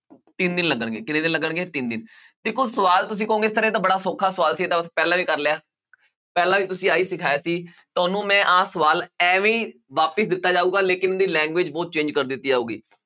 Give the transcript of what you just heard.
ਤਿੰਨ ਦਿਨ ਲੱਗਣਗੇ ਕਿੰਨੇ ਦਿਨ ਲੱਗਣਗੇ ਤਿੰਨ ਦਿਨ, ਦੇਖੋ ਸਵਾਲ ਤੁਸੀਂ ਕਹੋਗੇ sir ਇਹ ਤਾਂ ਬੜਾ ਸੌਖਾ ਸਵਾਲ ਸੀ ਇਹ ਪਹਿਲਾਂ ਵੀ ਕਰ ਲਿਆ, ਪਹਿਲਾਂ ਵੀ ਤੁਸੀਂ ਆਹੀ ਸਿਖਾਇਆ ਸੀ ਤੁਹਾਨੂੰ ਮੈਂ ਆਹ ਸਵਾਲ ਇਵੇਂ ਹੀ ਵਾਪਸ ਦਿੱਤਾ ਜਾਊਗਾ ਲੇਕਿੰਨ ਉਹਦੀ language ਬਹੁਤ change ਕਰ ਦਿੱਤੀ ਜਾਊਗੀ